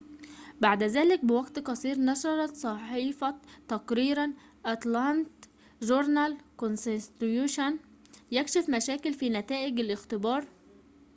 بعد ذلك بوقت قصير نشرت صحيفة atlanta journal-constitution تقريرًا يكشف مشاكل في نتائج الاختبار